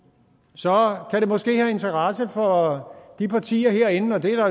så kan det måske have interesse for de partier herinde der